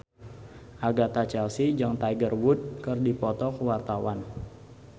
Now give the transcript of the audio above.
Agatha Chelsea jeung Tiger Wood keur dipoto ku wartawan